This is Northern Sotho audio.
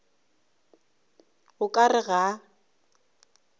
o ka re ga a